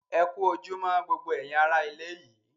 Ẹ ku ojúmọ̀ gbogbo èyin ará ilẹ̀ yìí